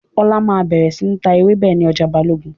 Ọlá máa bẹ̀rẹ̀ síí ta ewébẹ̀ ni ọjà Balogun